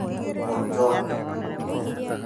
Ojwang nĩ mũtonyi